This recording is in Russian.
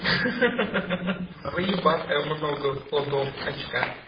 ха-ха заебатая много ходов очка